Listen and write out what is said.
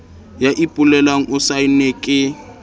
ya ipolelang o saenne ke